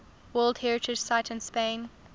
world heritage sites in spain